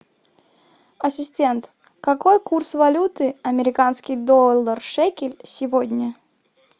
ассистент какой курс валюты американский доллар шекель сегодня